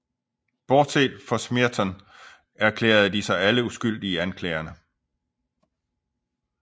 Bortset fra Smeaton erklærede de sig alle uskyldige i anklagerne